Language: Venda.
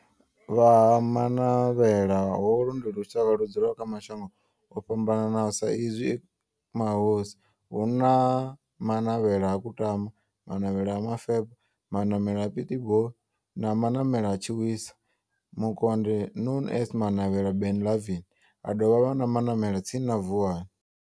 Vha Ha Manavhela, holu ndi lushaka ludzula kha mashango ofhambanaho sa izwi e mahosi, hu na Manavhela ha Kutama, Manavhela ha Mufeba, Manavhela ha Pietboi na Manavhela ha Tshiwisa Mukonde known as Manavhela Benlavin, ha dovha havha na Manavhela tsini na Vuwani.